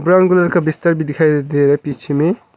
Brown colour का बिस्तर भी दिखाई दे रहा है पीछे में।